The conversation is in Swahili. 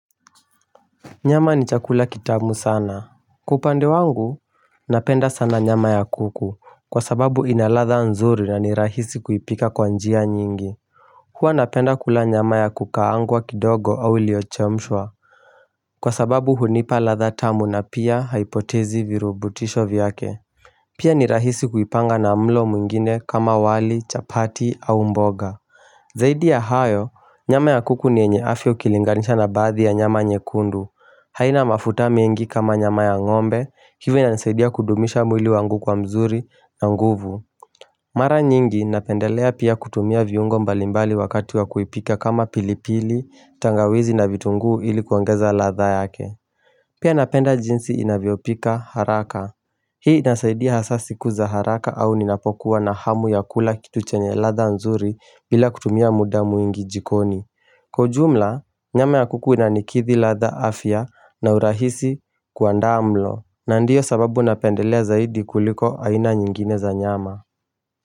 Nyama ni chakula kitamu sana. Kwa upande wangu, napenda sana nyama ya kuku, kwa sababu inaladha nzuri na ni rahisi kuipika kwa njia nyingi. Huwa napenda kula nyama ya kukaangwa kidogo au iliyochemshwa. Kwa sababu hunipa ladha tamu na pia haipotezi virubutisho vyake. Pia ni rahisi kuipanga na mlo mwingine kama wali, chapati au mboga. Zaidi ya hayo, nyama ya kuku ni yenye afya ikilinganisha na baadhi ya nyama nyekundu. Haina mafuta mengi kama nyama ya ngombe, hivyo inasaidia kudumisha mwili wangu kwa mzuri na nguvu. Mara nyingi napendelea pia kutumia viungo mbalimbali wakati wa kuipika kama pilipili, tangawizi na vitunguu ilikuangeza latha yake. Pia napenda jinsi inavyopika haraka. Hii inasaidia hasa siku za haraka au ninapokuwa na hamu ya kula kitu chenye ladha nzuri bila kutumia muda mwingi jikoni. Kwa jumla, nyama ya kuku ina nikithi ladha afya na urahisi kuandaa mlo na ndiyo sababu napendelea zaidi kuliko aina nyingine za nyama.